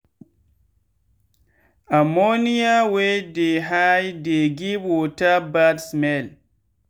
ammonia wey too highdey give water bad smell